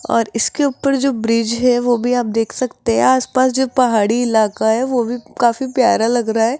और इसके ऊपर जो ब्रिज है वो भी आप देख सकते हैं आस पास जो पहाड़ी इलाका है वो भी काफी प्यारा लग रहा है।